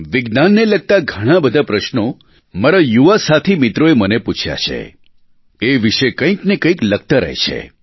વિજ્ઞાનને લગતા ઘણાં બધા પ્રશ્નો મારા યુવા સાથીમિત્રોએ મને પૂછ્યાં છે એ વિષે કંઇક ને કંઇક લખતા રહે છે